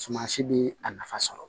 Suman si bi a nafa sɔrɔ